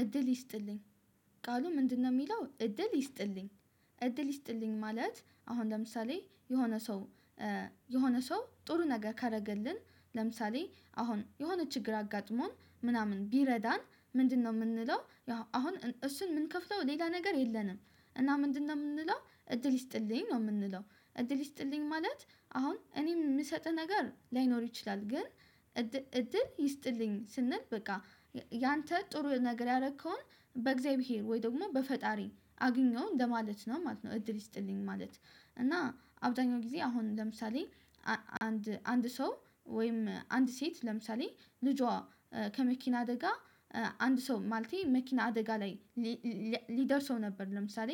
እድል ይስጥልኝ ቃሉ ምንድነው? ሚለው እድል ይስጥልኝ እድል ይስጥልኝ ማለት አሁን ለምሳሌ የሆነ ሰው። የሆነ ሰው ጥሩ ነገር ካረገልን ለምሳሌ አሁን የሆነ ችግር አጋጥሞን ምናምን ቢረዳን ምንድነው ምንለው ያው አሁን እን እሱን ምንከፍለው ሌላ ነገር የለንም። እና ምንድነው ምንለው እድል ይስጥልኝ ነው ምንለው እድል ይስጥልኝ ማለት። አሁን እኔ ምሰጥህ ነገር ላይኖር ይችላል። ግን እድ እድል ይስጥልኝ ስንል በቃ ያንተ ጥሩ ነገር ያረከውን በእግዚአብሔር ወይ ደግሞ በፈጣሪ አግኘው እንደማለት ነው ማለት ነው። እድል ይስጥልኝ ማለት እና አብዛኛው ጊዜ አሁን ለምሳሌ አ አንድ አንድ ሰው ወይም አንድ ሴት ለምሳሌ ልጇ ከመኪና አደጋ። አንድ ሰው ማለቴ መኪና አደጋ ላይ ሊ ለ ሊደርሰው ነበር። ለምሳሌ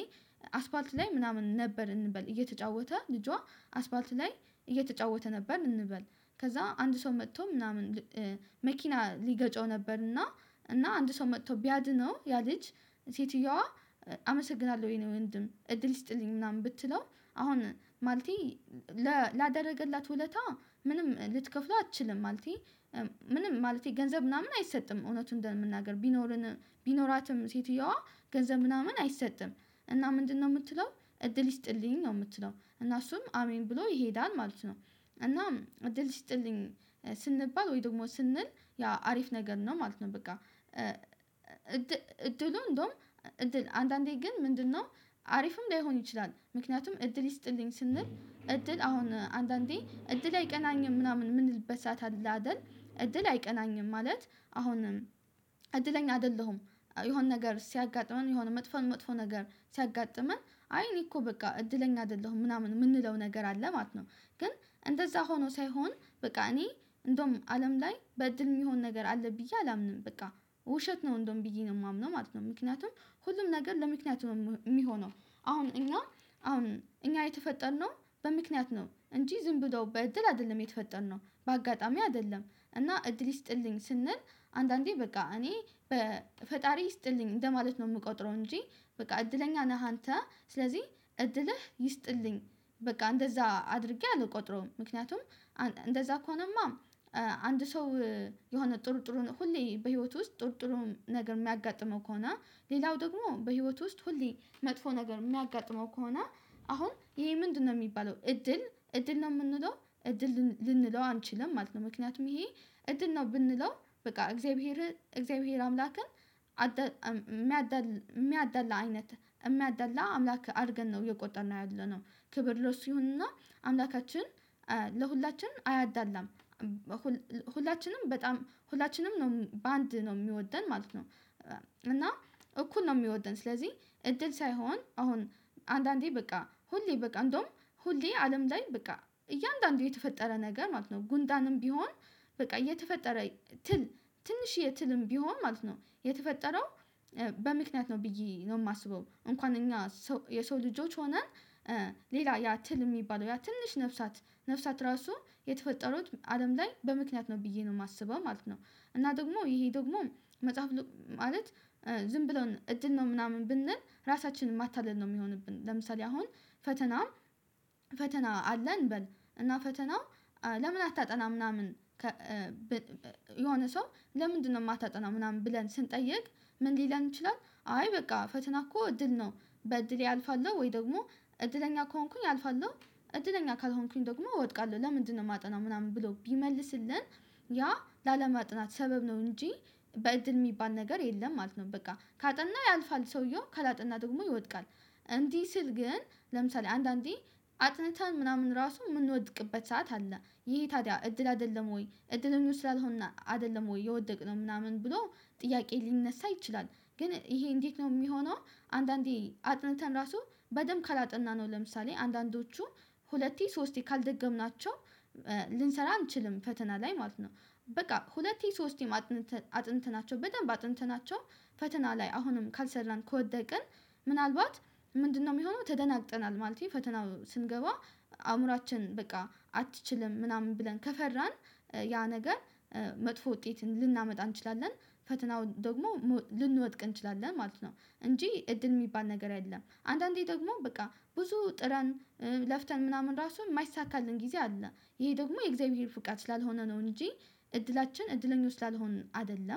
አስፓልት ላይ ምናምን ነበር እንበል እየተጫወተ ልጇ አስፓልት ላይ እየተጫወተ ነበር እንበል ከዛ አንድ ሰው መጥቶ ምናምን መኪና ሊገጨው ነበር። እና እና አንድ ሰው መጥቶ ቢያድነው ያ ልጅ ሴትየዋ አመሰግናለሁ የኔ ወንድም እድል ይስጥልኝ ምናምን ብትለው። አሁን ማለቴ ለ ላደረገላት ውለታ ምንም ልትከፍለው አትችልም ማለቴ። ምንም ማለቴ ገንዘብ ምናምን አይሰጥም እውነቱን እንደመናገር ቢኖረን ቢኖራትም ሴትየዋ ገንዘብ ምናምን አይሰጥም። እና ምንድነው ምትለው እድል ይስጥልኝ ነው ምትለው እና እሱም አሜን ብሎ ይሄዳል ማለት ነው። እናም እድል ይስጥልኝ ስንባል ወይ ደግሞ ስንል ያ አሪፍ ነገር ነው ማለት ነው። በቃ እድሉ እንደውም እድል አንዳንዴ ግን ምንድነው አሪፍም ላይሆን ይችላል። ምክንያቱም እድል ይስጥልኝ ስንል እድል አሁን አንዳንዴ እድሌ አይቀናኝም ምናምን ምንልበት ሰዓት አለ አይደል እድል አይቀናኝም ማለት። አሁንም እድለኛ አይደለሁም። የሆነ ነገር ሲያጋጥመን የሆነ መጥፎን መጥፎ ነገር ሲያጋጥመን አይ እኔ እኮ በቃ እድለኛ አይደለሁም ምናምን ምንለው ነገር አለ ማለት ነው። ግን እንደዛ ሆኖ ሳይሆን በቃ እኔ እንደውም አለም ላይ በእድል ሚሆን ነገር አለ ብዬ አላምንም። በቃ ውሸት ነው እንደውም ብዬ ነው ማምነው ማለት ነው። ምክንያቱም ሁሉም ነገር ለምክንያት ነው ም ሚሆነው። አሁን እኛ አሁን እኛ የተፈጠርነው በምክንያት ነው እንጂ ዝም ብሎ በእድል አይደለም የተፈጠርነው በአጋጣሚ አይደለም። እና እድል ይስጥልኝ ስንል አንዳንዴ በቃ እኔ በፈጣሪ ይስጥልኝ እንደማለት ነው ምቆጥረው እንጂ። በቃ እድለኛ ነህ አንተ ስለዚህ እድልህ ይስጥልኝ በቃ እንደዛ አድርጌ አልቆጥረውም። ምክንያቱም አን እንደዛ ከሆነማ አንድ ሰው የሆነ ጥሩ ጥሩን ሁሌ በህይወቱ ውስጥ ጥሩ ጥሩ ነገር ሚያጋጥመው ከሆነ። ሌላው ደግሞ በህይወት ውስጥ ሁሌ መጥፎ ነገር ሚያጋጥመው ከሆነ። አሁን ይሄ ምንድነው ሚባለው? እድል እድል ነው ምንለው እድል ልን ልንለው አንችልም ማለት ነው። ምክንያቱም ይሄ እድል ነው ብንለው በቃ እግዚአብሔር እግዚአብሔር አምላክን አደ አደል ሚያዳላ አይነት እሚያዳላ አምላክ አርገን ነው እየቆጠርነው ያለነው። ክብር ለሱ ይሁን እና አምላካችን ለሁላችን አያዳላም። ሁል ሁላችንም በጣም ሁላችንም ነው በአንድ ነው ሚወደን ማለት ነው። እና እኩል ነው ሚወደን ስለዚህ እድል ሳይሆን አሁን አንዳንዴ በቃ ሁሌ በቃ እንደውም ሁሌ አለም ላይ በቃ እያንዳንዱ የተፈጠረ ነገር ማለት ነው። ጉንዳንም ቢሆን በቃ የተፈጠረ ትል ትንሽዬ ትልም ቢሆን ማለት ነው የተፈጠረው። በምክንያት ነው ብዬ ነው ማስበው እንኳን እኛ ሰው የሰው ልጆች ሆነን ሌላ ያ ትል እሚባለው ያ ትንሽ ነፍሳት ነፍሳት እራሱ የተፈጠሩት አለም ላይ በምክንያት ነው ብዬ ነው ማስበው ማለት ነው። እና ደግሞ ይሄ ደግሞ መጽሐፍ ሉ ማለት ዝም ብሎን እድል ነው ምናምን ብንል ራሳችንን ማታለል ነው ሚሆንብን። ለምሳሌ አሁን ፈተናም ፈተና አለን እንበል እና ፈተና ለምን አታጠናም ምናምን ከ ብ የሆነ ሰው ለምንድነው? ማታጠናው ምናምን ብለን ስንጠይቅ። ምን ሊለን ይችላል? አይ በቃ ፈተና እኮ እድል ነው። በእድሌ አልፋለሁ ወይ ደግሞ እድለኛ ከሆንኩኝ አልፋለሁ። እድለኛ ካልሆንኩኝ ደግሞ እወድቃለሁ ለምንድነው ማጠናው ምናምን ብሎ ቢመልስልን። ያ ላለማጥናት ሰበብ ነው እንጂ በእድል ሚባል ነገር የለም ማለት ነው። በቃ ካጠናው ያልፋል ሰውየው ካላጠና ደግሞ ይወድቃል። እንዲህ ስል ግን ለምሳሌ አንዳንዴ አጥንተን ምናምን ራሱ ምንወድቅበት ሰዓት አለ። ይሄ ታዲያ እድል አይደለም? ወይ እድለኞች ስላልሆነ አይደለም? ወይ የወደቅነው ምናምን ብሎ ጥያቄ ሊነሳ ይችላል። ግን ይሄ እንዴት ነው ሚሆነው? አንዳንዴ አጥንተን ራሱ በደንብ ካላጠናነው ለምሳሌ አንዳንዶቹ ሁለቴ ሶስቴ ካልደገምናቸው ልንሰራ አንችልም ፈተና ላይ ማለት ነው። በቃ ሁለቴ ሶስቴም አጥንተን አጥንተናቸው በደንብ አጥንተናቸው። ፈተና ላይ አሁንም ካልሰራን ከወደቅን። ምናልባት ምንድነው ሚሆነው ተደናግጠናል ማለቴ ፈተናው ስንገባ። አእምሯችን በቃ አትችልም ምናምን ብለን ከፈራን። ያ ነገር መጥፎ ውጤትን ልናመጣ እንችላለን። ፈተናውን ደግሞ ሞ ልንወድቅ እንችላለን ማለት ነው። እንጂ እድል ሚባል ነገር አይደለም። አንዳንዴ ደግሞ በቃ ብዙ ጥረን ለፍተን ምናምን ራሱ ማይሳካልን ጊዜ አለ። ይሄ ደግሞ የእግዚአብሔር ፍቃድ ስላልሆነ ነው እንጂ። እድላችን እድለኞች ስላልሆንን አይደለም